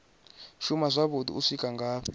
shuma zwavhuḓi u swika ngafhi